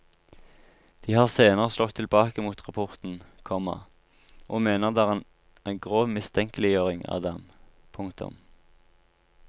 De har senere slått tilbake mot rapporten, komma og mener den er en grov mistenkeliggjøring av dem. punktum